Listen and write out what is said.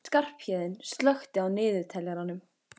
Skarphéðinn, slökktu á niðurteljaranum.